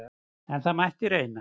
En það mætti reyna!